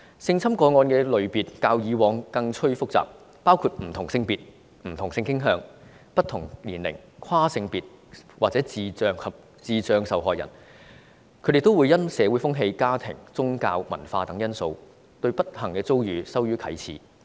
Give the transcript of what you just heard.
性侵個案的類別較以往更趨複雜，包括不同性別、不同性傾向、不同年齡、跨性別或智障受害人，他們也會因社會風氣、家庭、宗教及文化等因素，對不幸遭遇羞於啟齒。